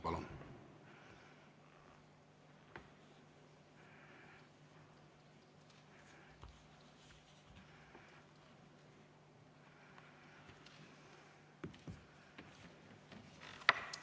Palun!